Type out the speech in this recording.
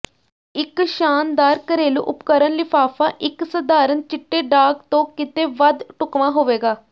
ਇੱਕ ਸ਼ਾਨਦਾਰ ਘਰੇਲੂ ਉਪਕਰਣ ਲਿਫ਼ਾਫ਼ਾ ਇੱਕ ਸਧਾਰਣ ਚਿੱਟੇ ਡਾਕ ਤੋਂ ਕਿਤੇ ਵੱਧ ਢੁਕਵਾਂ ਹੋਵੇਗਾ